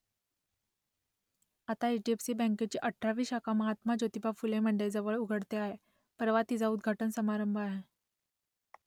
आता H D F C बँकेची अठरावी शाखा महात्मा ज्योतिबा फुले मंडईजवळ उघडते आहे परवा तिचा उद्घाटन समारंभ आहे